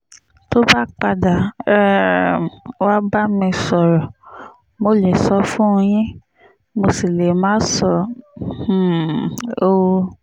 tó bá padà um wàá bá mi sọ̀rọ̀ mo lè sọ ọ́ fún yín mo sì lè má sọ um ọ́